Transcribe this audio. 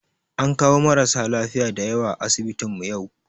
An kawo marasa lafiya da yawa a asibitinmu yau